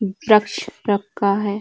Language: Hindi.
ब्रक्ष रखा है।